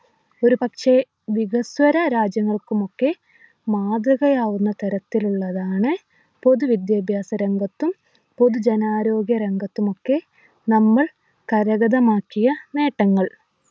ഒരു പക്ഷെ വികസ്വര രാജ്യങ്ങൾക്കുമൊക്കെ മാതൃകയാവുന്ന തരത്തിലുള്ളതാണ് പൊതു വിദ്യാഭ്യാസ രംഗത്തും പൊതുജനാരോഗ്യ രംഗത്തുമൊക്കെ നമ്മൾ കരഗതമാക്കിയ നേട്ടങ്ങൾ